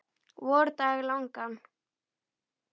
vordag langan.